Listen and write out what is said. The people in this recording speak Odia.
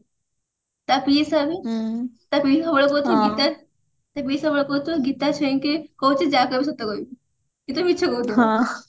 ତା ପିଇସା ବି ତା ପିଇସା ସବୁବେଳେ କହୁଥିବେ ଗୀତା ତା ପିଇସା ସବୁବେଳେ କହୁଥିବେ ଗୀତା ଛୁଇଙ୍କି କହୁଛି ଯାହା କହିବୁ ସତ କହିବୁ କିନ୍ତୁ ମିଛ